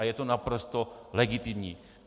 A je to naprosto legitimní.